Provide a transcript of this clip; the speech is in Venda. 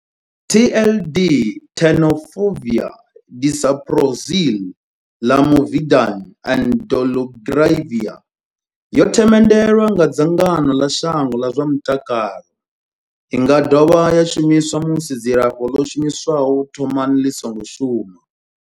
TLD Tenofovir disoproxil, Lamivudine and dolutegravir yo themendelwa nga dzangano ḽa shango ḽa zwa mutakalo. I nga dovha ya shumiswa musi dzilafho ḽo shumiswaho u thomani ḽi songo shuma.